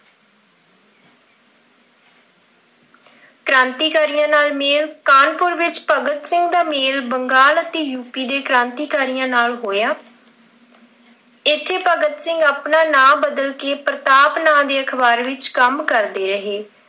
ਕ੍ਰਾਂਤੀਕਾਰੀਆਂ ਨਾਲ ਮੇਲ, ਕਾਹਨਪੁਰ ਵਿੱਚ ਭਗਤ ਸਿੰਘ ਦਾ ਮੇਲ ਬੰਗਾਲ ਅਤੇ ਯੂਪੀ ਦੇ ਕ੍ਰਾਂਤੀਕਾਰੀਆਂ ਨਾਲ ਹੋਇਆ। ਇੱਥੇ ਭਗਤ ਸਿੰਘ ਆਪਣਾ ਨਾਮ ਬਦਲ ਕਿ ਪ੍ਰਤਾਪ ਨਾਮ ਦੇ ਅਖ਼ਬਾਰ ਵਿੱਚ ਕੰਮ ਕਰਦੇ ਰਹੇ।